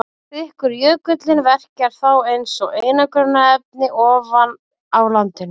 Þykkur jökullinn verkar þá eins og einangrunarefni ofan á landinu.